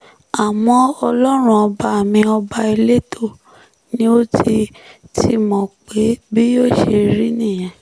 àmọ́ ọlọ́run ọba mi ọba elétò ni ó ti ti mọ̀ pé bí yóò ṣe rí nìyẹn